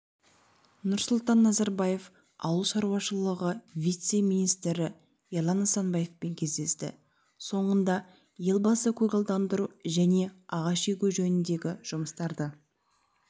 нұрсұлтан назарбаев ауыл шаруашылығы вице-министрі ерлан нысанбаевпен кездесті соңында елбасы көгалдандыру және ағаш егу жөніндегі жұмыстарды